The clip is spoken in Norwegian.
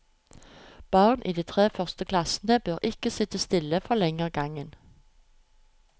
Barn i de tre første klassene bør ikke sitte stille for lenge av gangen.